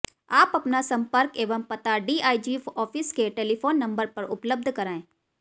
आप अपना सम्पर्क एंव पता डीआईजी ऑफिस के टेलीफोन नम्बर पर उपलब्ध कराएं